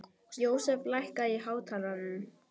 Jósef, lækkaðu í hátalaranum.